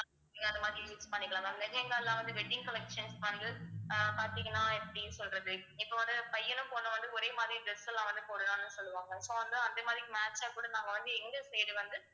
நீங்க அந்த மாதிரி use பண்ணிக்கலாம் ma'am lehenga லாம் வந்து wedding collections வந்து ஆஹ் பார்த்தீங்கன்னா எப்படி சொல்றது இப்ப வந்து பையனும் பொண்ணும் வந்து ஒரே மாதிரி dress எல்லாம் வந்து போடலாம்னு சொல்லுவாங்க so வந்து அதே மாதிரி match ஆ கூட நாங்க வந்து எங்க side வந்து